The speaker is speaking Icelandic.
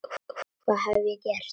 Hvað hef ég gert?.